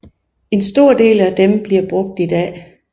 En stor del af dem bliver brugt i dag